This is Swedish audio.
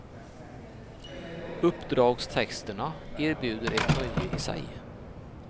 Uppdragstexterna erbjuder ett nöje i sig.